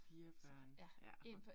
4 børn. Ja